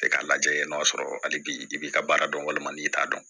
Kɛ k'a lajɛ n'a sɔrɔ hali bi i b'i ka baara dɔn walima n'i t'a dɔn